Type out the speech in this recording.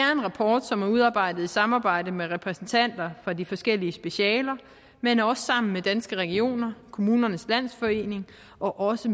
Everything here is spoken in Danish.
er en rapport som er udarbejdet i samarbejde med repræsentanter fra de forskellige specialer men også sammen med danske regioner kommunernes landsforening og også